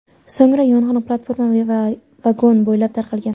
So‘ngra yong‘in platforma va vagon bo‘ylab tarqalgan.